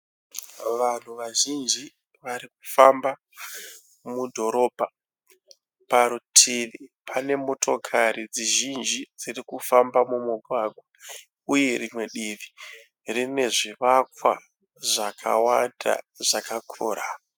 Vanhu vazhinji varikufamba mudhorobha. Parutivi pane motokari dzizhinji dzirikufamba mumugwagwa uye rimwe divi rine zvivakwa zvakawanda zvakakura.